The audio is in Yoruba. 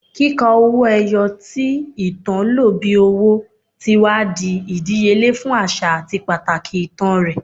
Kika owo eyo, ti itan lo bi owo, ti wa ni idiyele fun aṣa ati pataki itan rẹ